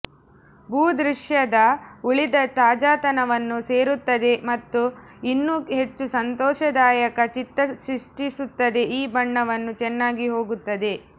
ಭೂದೃಶ್ಯದ ಉಳಿದ ತಾಜಾತನವನ್ನು ಸೇರಿಸುತ್ತದೆ ಮತ್ತು ಇನ್ನೂ ಹೆಚ್ಚು ಸಂತೋಷದಾಯಕ ಚಿತ್ತ ಸೃಷ್ಟಿಸುತ್ತದೆ ಈ ಬಣ್ಣವನ್ನು ಚೆನ್ನಾಗಿ ಹೋಗುತ್ತದೆ